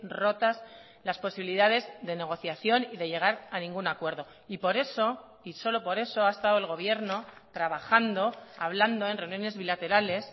rotas las posibilidades de negociación y de llegar a ningún acuerdo y por eso y solo por eso ha estado el gobierno trabajando hablando en reuniones bilaterales